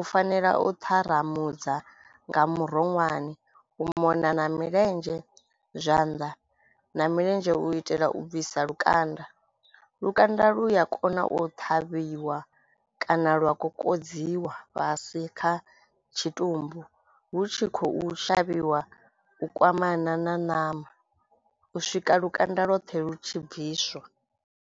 u fanela u ṱharamudza nga muronwane u mona na milenzhe, zwanḓa na milenzhe u itela u bvisa lukanda. Lukanda lu ya kona u ṱhavhiwa kana lwa kokodziwa fhasi kha tshitumbu hu tshi khou shavhiwa u kwamana na ṋama u swika lukanda lwoṱhe lu tshi bviswa.